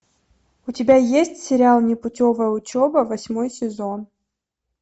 у тебя есть сериал непутевая учеба восьмой сезон